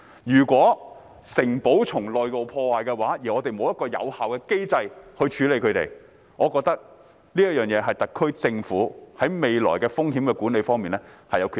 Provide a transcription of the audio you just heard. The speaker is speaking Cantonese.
如果城堡的內部受到破壞，而我們沒有一個有效的機制處理，我認為這是特區政府在未來風險管理方面的缺失。